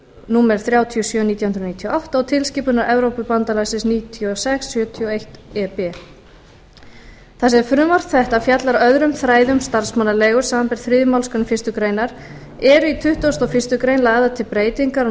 númer þrjátíu og sjö nítján hundruð níutíu og átta og tilskipunar evrópubandalagsins níutíu og sex sjötíu og eitt e b þar sem frumvarp þetta fjallar öðrum þræði um starfsmannaleigur samanber þriðju málsgrein fyrstu grein eru í tuttugasta og fyrstu grein lagðar til breytingar á